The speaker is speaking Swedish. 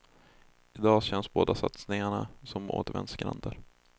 I dag känns båda satsningarna som återvändsgränder.